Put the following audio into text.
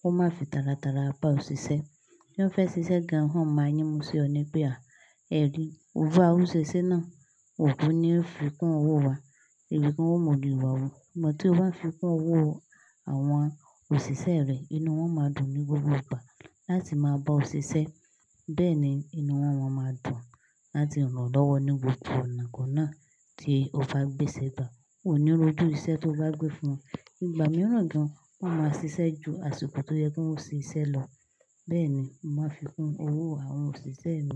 wọ́n má fi tálátala bá ọ ṣiṣẹ́. Tí wọ́n fẹ́ ṣiṣẹ́ gan, wọn máa yínmu sí ọ ní pé à, ẹ rí, owó aṣọ ṣiṣẹ́ náà, òun ni ó fi kún owó wa. Ẹ̀wẹ̀ kan wọn ò mọ ìwà o. Ṣùgbọ́n tí o bá fi kún owó àwọn òṣìṣẹ́ rẹ, inú wọn máa dùn ní gbogbo ìgbà láti máa bá ọ ṣiṣẹ́. Bẹ́ẹ̀ ni inú wọn máa dùn láti ràn ọ́ lọ́wọ́ ní gbogbo ọ̀nà kan náà tí o bá gbé ṣ'ebà. Wọn ò ní ronú ìṣẹ́ tí o bá gbé fún wọn. Ní ìgbà mìíràn gan, wọ́n máa ṣiṣẹ́ ju àsìkò tó yẹ kí wọ́n ṣe iṣẹ́ lọ. Bẹ́ẹ̀ ni màá fi kún owó àwọn òṣìṣẹ́ mi.